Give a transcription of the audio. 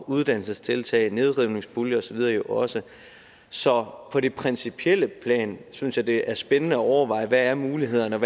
uddannelsestiltag nedrivningspuljer osv jo også så på det principielle plan synes jeg det er spændende at overveje hvad mulighederne er